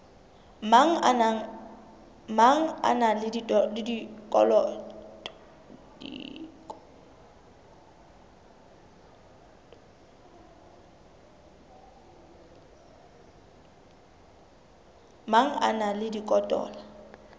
mang a na le dikotola